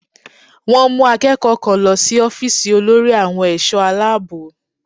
Wọ́n mú akẹ́kọ̀ọ́ kan lọ sí ọ́fíìsì olórí àwọn ẹ̀ṣọ́ Aláàbò